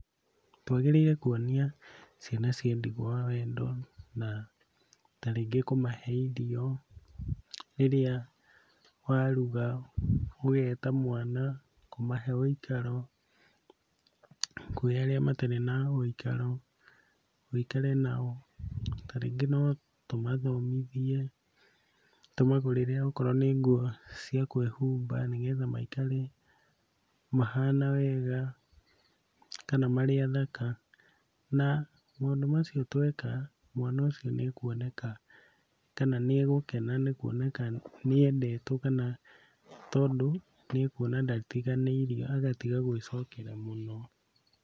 Twagĩrĩire kuonia ciana cia ndigwa wendo na ta rĩngĩ kũmahe irio rĩrĩa waruga ũgeta mwana, kũmahe wĩikaro kwĩ arĩa matarĩ na wĩikaro wĩikare nao. Ta rĩngĩ no tũmathomithie, tũmagũrĩre okorwo nĩ nguo cia kwĩhumba nĩgetha maikare mahana wega kana marĩ athaka, na maũndũ macio tweka mwana ũcio nĩekuoneka kana nĩegũkena nĩ kuoneka nĩendetwo kana tondũ nĩekuona ndatiganĩirio agatiga gwĩcokera mũno.